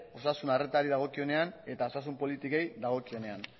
osasun arretari dagokionean eta osasun politikei dagokionean